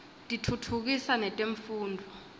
tiftutfukisa netemfundvo